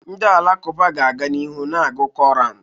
Ndị alakụba ga-aga n'ihu na-agụ Koran.